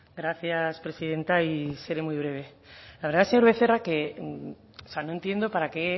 gracias presidenta y seré muy breve la verdad señor becerra no entiendo para qué